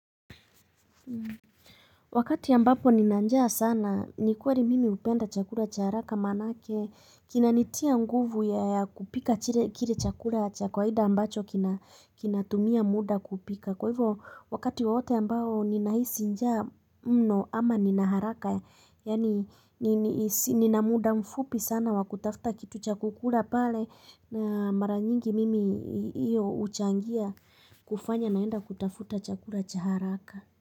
Wakati ya mbapo ni nanjaa sana ni kuari mimi upenda chakura cha haraka manake kina nitia nguvu ya kupika chile kile chakura cha kwaida ambacho kinatumia muda kupika kwa hivyo wakati waote ya mbao ni nahisi njaa mno ama ni naharaka yaani ni na muda mfupi sana wa kutafuta kitu cha kukura pale na maranyingi mimi iyo uchangia kufanya naenda kutafuta chakura cha haraka.